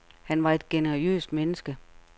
Han var et generøst menneske.